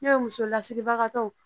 N'o ye muso lasiribagatɔw